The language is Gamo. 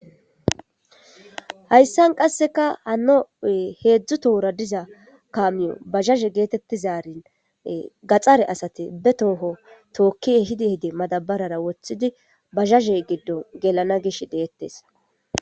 hayssan qasseka hanoe heedzdzu tohora diza kamiyo bazhazhe geetettizarin gaxare asati be tooho tookkie hidi hide madabarara woththidi bazhaze giddon gelana gish deettes